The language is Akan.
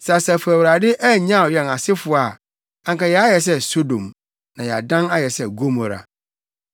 Sɛ Asafo Awurade annyaw yɛn asefo a, anka yɛayɛ sɛ Sodom, na yɛadan ayɛ sɛ Gomora.